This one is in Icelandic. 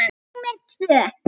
númer tvö.